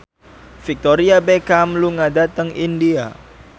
Victoria Beckham lunga dhateng India